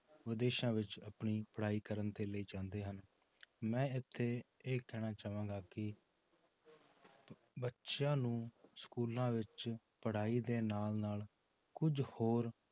ਵਿਦੇਸ਼ਾਂ ਵਿੱਚ ਆਪਣੀ ਪੜ੍ਹਾਈ ਕਰਨ ਦੇ ਲਈ ਜਾਂਦੇ ਹਨ, ਮੈਂ ਇੱਥੇ ਇਹ ਕਹਿਣਾ ਚਾਹਾਂਗਾ ਕਿ ਬੱਚਿਆਂ ਨੂੰ schools ਵਿੱਚ ਪੜ੍ਹਾਈ ਦੇ ਨਾਲ ਨਾਲ ਕੁੱਝ ਹੋਰ